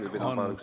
Aeg on täis.